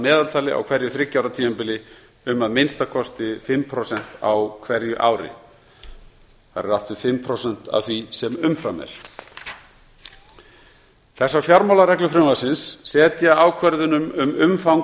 meðaltali á hverju þriggja ára tímabili um að minnsta kosti fimm prósent á hverju ári þar er átt við fimm prósent af því sem umfram er þessar fjármálareglur frumvarpsins setja ákvörðunum um umfang